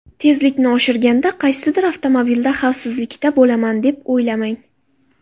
Tezlikni oshirganda qaysidir avtomobilda xavfsizlikda bo‘laman deb o‘ylamang.